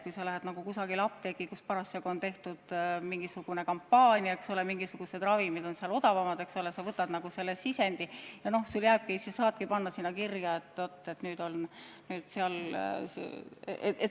Kui sa lähed mõnda apteeki, kus parasjagu on mingisugune kampaania, mingisugused ravimid on seal odavamad, siis see sisend sul jääbki: sa saadki panna kirja, et seal on ravimid odavamad.